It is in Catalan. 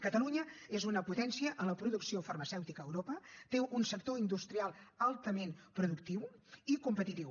catalunya és una potència en la producció farmacèutica a europa i té un sector industrial altament productiu i competitiu